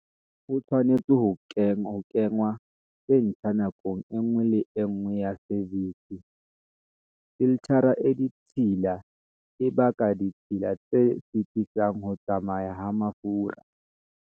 Ho tshwanetse ho kenngwa tse ntjha nakong e nngwe le e nngwe ya service. Filthara e ditshila e baka ditshila tse sitisang ho tsamaya ha mafura.